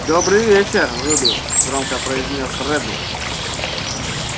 добрый вечер рубеус громко произнёс реддл